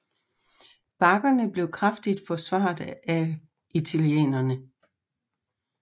Bakkerne blev kraftigt forsvaret af italienerne